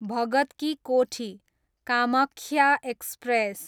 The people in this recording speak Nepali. भगत की कोठी, कामाख्या एक्सप्रेस